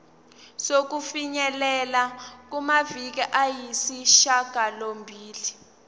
sokufinyelela kumaviki ayisishagalombili